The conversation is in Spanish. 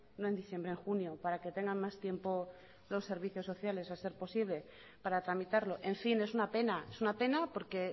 no en diciembre en junio para que tengan más tiempo los servicios sociales a ser posible para tramitarlo en fin es una pena es una pena porque